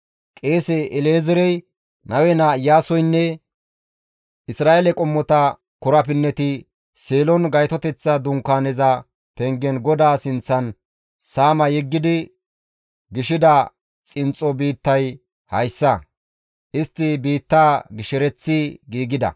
Qeese El7ezeerey, Nawe naa Iyaasoynne Isra7eele qommota korapinneti Seelon Gaytoteththa Dunkaaneza pengen GODAA sinththan saama yeggidi gishida xinxxo biittay hayssa. Istti biittaa gishereththi giigida.